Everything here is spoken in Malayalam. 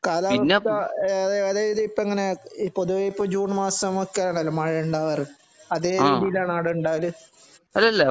കാലാവസ്ഥ അതായത് ഇപ്പോ എങ്ങനെയാ പൊതുവേ ഇപ്പം ജൂൺ മാസം ഒക്കെ ആണല്ലോ മഴ ഉണ്ടാകാറ് അതേ രീതിയിൽ ആണോ അവിടെ ഉണ്ടാകല്